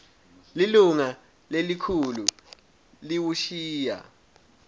lilunga lelikhulu liwushiya